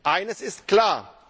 Eines ist klar.